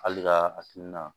Hali ka hakilina